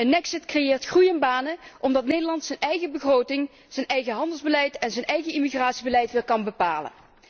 Een exit creëert groei en banen, omdat Nederland zijn eigen begroting, zijn eigen handelsbeleid en zijn eigen immigratiebeleid weer kan bepalen.